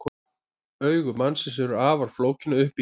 Augu mannsins eru afar flókin að uppbyggingu.